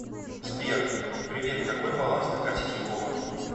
сбер привет какой баланс на карте тинькова